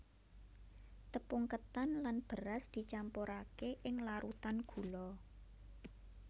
Tepung ketan lan beras dicampurake ing larutan gula